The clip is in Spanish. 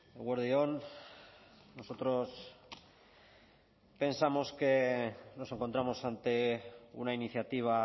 eguerdi on nosotros pensamos que nos encontramos ante una iniciativa